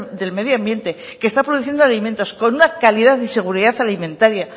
del medio ambiente que está produciendo alimentos con una calidad y seguridad alimentaria